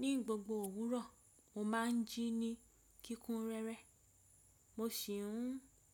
Ní gbogbo òwúrọ̀, mo máa ń jí ní kíkún rẹ́rẹ́. Mo sì ń